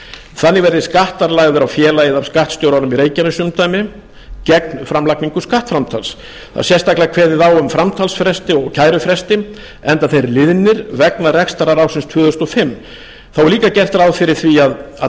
þannig verði skattar lagðir á félagið af skattstjóranum í reykjanesumdæmi gegn framlagningu skattframtals það er sérstaklega kveðið á um framtalsfresti og kærufresti enda þeir liðnir vegna rekstrar ársins tvö þúsund og fimm þá er líka gert ráð fyrir því að